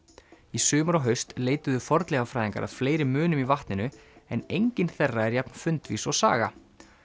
í sumar og haust leituðu fornleifafræðingar að fleiri munum í vatninu en enginn þeirra er jafn fundvís og Saga